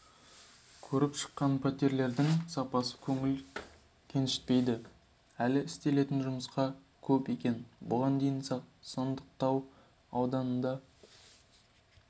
көріп шыққан пәтерлердің сапасы көңіл көншітпейді әлі істелетін жұмыс көп екен бұған дейін сандықтау ауданында да